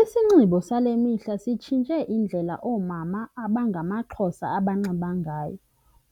Isinxibo sale mihla sitshintshe indlela oomama abangamaXhosa abanxiba ngayo.